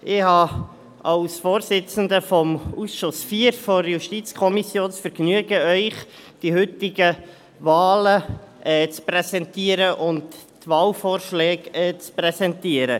Als Vorsitzender des Ausschusses IV der JuKo habe ich das Vergnügen, Ihnen die heutigen Wahlen und die Wahlvorschläge zu präsentieren.